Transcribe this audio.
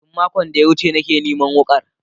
Tun makon da ya wuce nake neman wukar